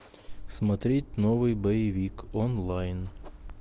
смотреть новый боевик онлайн